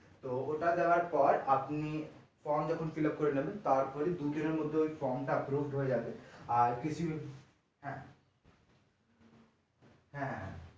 তো ওটা দেওয়ার পর আপনি form যখন fillup করে নেবেন তারপরেই দুদিনের মধ্যে ওই form টা upload হয়ে যাবে আর কিছু হ্যাঁ হ্যাঁ